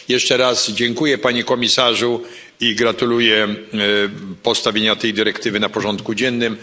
Jeszcze raz dziękuję, Panie Komisarzu, i gratuluję postawienia tej dyrektywy na porządku dziennym.